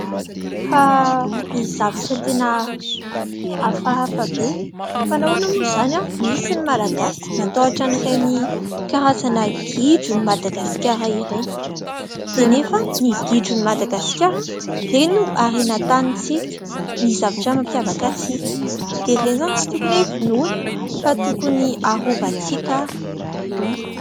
Fa misy zavatra tena hafahafa be. Fa nahoana moa izany, misy ny malagasy matahotra an'ireny karazana gidron'i Madagasikara ireny. Dia nefa ny gidron'i Madagasikara, ireny no harenan-tanintsika, ny zavatra mampiavaka antsika. Dia ireny izany tsy tokony hoe vonoina fa tokony arovantsika ary.